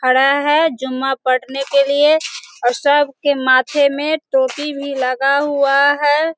खड़ा है जुम्मा पड़ने के लिए और सब के माथे पे टोपी भी लगा हुआ है।